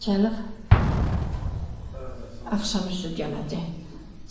Gəlib axşam üstü yenəcək.